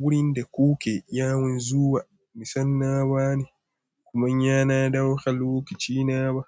Wurin da kuke yawon zuwa nisan na wane, kuma yana ɗaukar lokacina ba.